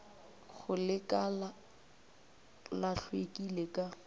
go lekala la hlweki ka